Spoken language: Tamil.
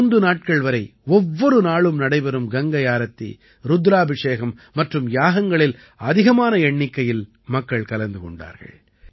மூன்று நாட்கள் வரை ஒவ்வொரு நாளும் நடைபெறும் கங்கை ஆரத்தி ருத்ராபிஷேகம் மற்றும் யாகங்களில் அதிகமான எண்ணிக்கையில் மக்கள் கலந்து கொண்டார்கள்